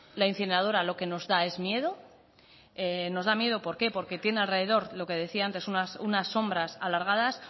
la incineradora lo que nos da es miedo nos da miedo por qué porque tiene alrededor lo que decía antes unas sombras alargadas